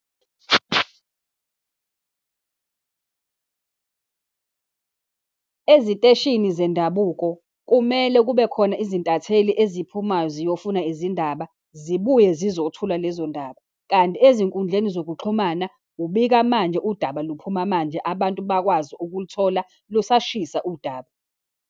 Eziteshini zendabuko kumele kube khona izintatheli eziphumayo ziyofuna izindaba, zibuye zizothula lezo ndaba, kanti ezinkundleni zokuxhumana, ubika manje, udaba luphuma manje, abantu bakwazi ukuluthola lusashisa udaba.